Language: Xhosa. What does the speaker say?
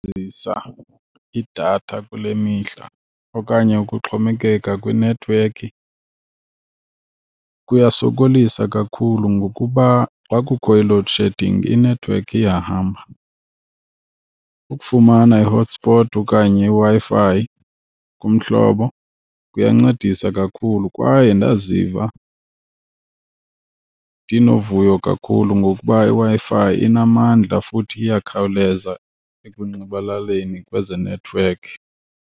Ukusebenzisa idatha kule mihla okanye ukuxhomekeka kwinethiwekhi kuyasokolisa kakhulu ngokuba xa kukho i-load shedding inethiwekhi iyahamba. Ukufumana i-hotspot okanye iWi-Fi kumhlobo kuyancedisa kakhulu kwaye ndaziva ndinovuyo kakhulu ngokuba iWi-Fi inamandla futhi iyakhawuleza ekunxibelaneni kwezenethiwekhi.